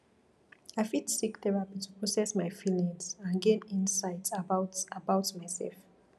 i fit seek therapy to process my feelings and gain insights about about myself